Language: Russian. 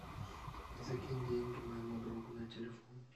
закинь деньги моему другу на телефон